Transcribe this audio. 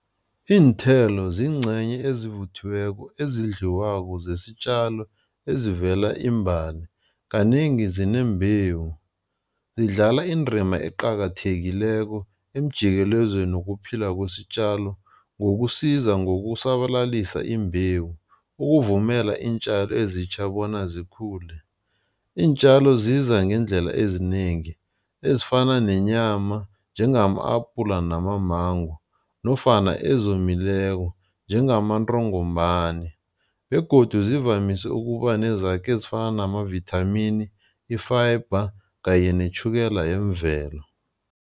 Iinthelo ziingcenye ezivuthiweko ezidliwako zesitjalo ezivela iimbali. Kanengi zinembewu, zidlala indima eqakathekileko emjikelezweni wokuphila kwesitjalo ngokusiza ngokusabalalisa imbewu ukuvumela iintjalo ezitjha bona zikhule. Iintjalo ziza ngeendlela ezinengi ezifana nenyama njengama-apula namamango nofana ezomileko njengamantongomani begodu zivamise ukuba nezakhi ezifana namavithamini, i-fiber kanye netjhukela yemvelo.